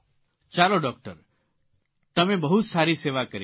ચાલો ડૉકટર તમે બહુ સારી સેવા કરી રહ્યા છો